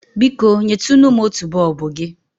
Biko, nyetunu m otu bọọbụ gị?